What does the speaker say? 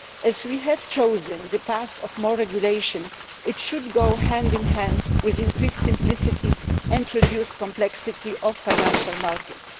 As we have chosen the path of more regulation, it should go hand in hand with increased simplicity and reduce the complexity of financial markets.